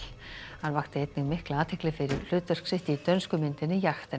hann vakti einnig mikla athygli fyrir hlutverk sitt í dönsku myndinni